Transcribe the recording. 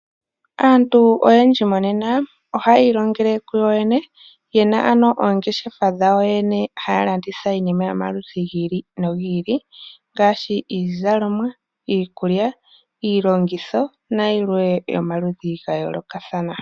Aantu oyendji monena ohaya ilongele kuyoyene yena oongeshefa dhawo yoyene haya landitha iinima yomaludhi gi ili nogi ili ngaashi iizalomwa, iikulya, iilongitho nayimwe yomaludhi ga yoolokathana.